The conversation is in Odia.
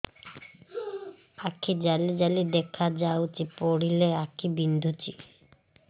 ଆଖି ଜାଲି ଜାଲି ଦେଖାଯାଉଛି ପଢିଲେ ଆଖି ବିନ୍ଧୁଛି